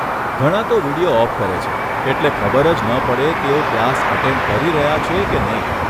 ઘણાં તો video off કરે છે એટલે ખબર જ ન પડે તેઓ ક્લાસ અટેન્ડ કરી રહ્યા છે કે નહીં.